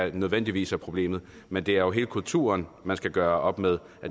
ikke nødvendigvis er problemet men det er jo hele kulturen man skal gøre op med